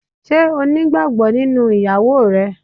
Ṣé o nígbàgbọ́ nínú ìyàwó rẹ?